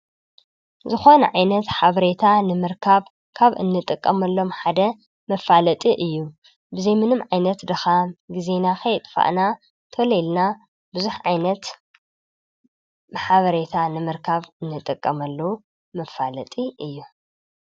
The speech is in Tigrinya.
ዝኮነ ዓይነት ሓበሬታ ንምርካብ ካብ እንጥቀመሎሞ ሓደ መፋለጢ እዩ:: ብዘይ ምንም ዓይነት ድካም ግዜና ከየጥፋእና ተሎ ኢልና ብዙሑ ዓይነት ሓበሬታ ንምርካብ እንጥቀመሉ መፋለጢ እዩ፡፡